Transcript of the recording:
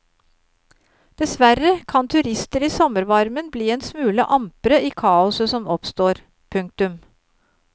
Dessverre kan turister i sommervarmen bli en smule ampre i kaoset som oppstår. punktum